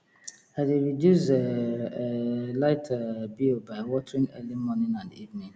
i dey reduce um um light um bill by watering early morning and evening